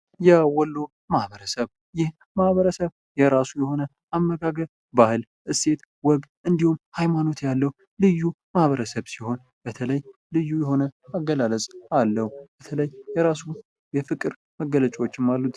የወሎ ማህበረሰብ ይህ ማህበረሰብ የራሱ የሆነ አመጋገብ፣ ባህል እሴት፣ ወግ እንዲሁም ሃይማኖት ያለው ልዩ ማህበረሰብ ሲሆን፤ በተለይ ልዩ የሆነ አገላለጽ አለው። በተለይ የራሱ የፍቅር መገለጫዎችም አሉት።